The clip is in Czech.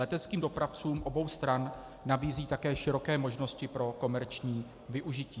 Leteckým dopravcům obou stran nabízí také široké možnosti pro komerční využití.